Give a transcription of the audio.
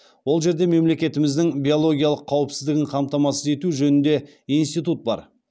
ол жерде мемлекетіміздің биологиялық қауіпсіздігін қамтамасыз ету жөнінде институт бар